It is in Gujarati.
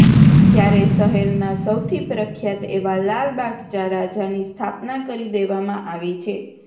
ત્યારે શહેરના સૌથી પ્રખ્યાત એવા લાલબાગચા રાજાની સ્થાપના કરી દેવામાં આવી છે